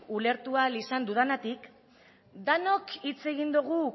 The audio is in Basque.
ulertu ahal izan dudanagatik denok hitz egin dugu